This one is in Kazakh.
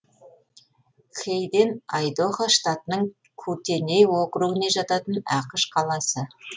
хейден айдохо штатының кутеней округіне жататын ақш қаласы